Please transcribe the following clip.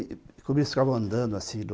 andando assim